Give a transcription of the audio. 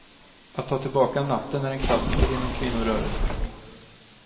Att ta tillbaka natten är en klassiker inom kvinnorörelsen.